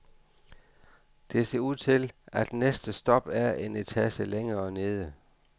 Det ser ud til, at næste stop er en etage længere nede.